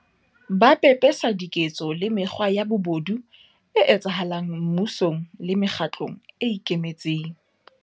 Ba pe pesa diketso le mekgwa ya bobodu e etsahala ng mmusong le mekgatlong e ikemetseng.